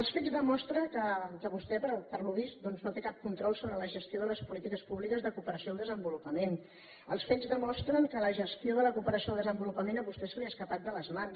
els fets demostren que vostè es veu que no té cap control sobre la gestió de les polítiques públiques de cooperació al desenvolupament els fets demostren que la gestió de la cooperació al desenvolupament a vostè se li ha escapat de les mans